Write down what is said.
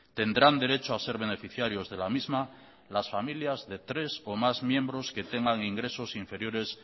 tendrán derecho a ser beneficiarios de la misma las familias de tres o más miembros que tengan ingresos inferiores